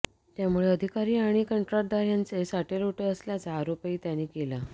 त्यामुळे अधिकारी आणि कंत्राटदार यांचे साटेलोटे असल्याचा आरोपही त्यांनी केला